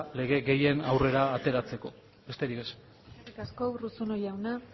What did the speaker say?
lege gehien aurrera ateratzeko besterik ez eskerrik asko urruzuno jauna